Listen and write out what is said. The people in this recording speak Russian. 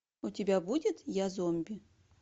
у тебя будет я зомби